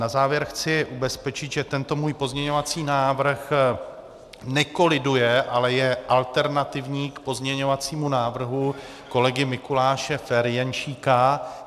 Na závěr chci ubezpečit, že tento můj pozměňovací návrh nekoliduje, ale je alternativní k pozměňovacímu návrhu kolegy Mikuláše Ferjenčíka.